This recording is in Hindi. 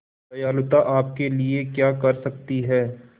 दयालुता आपके लिए क्या कर सकती है